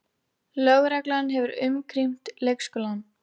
Lögreglan hefur umkringt leikskólann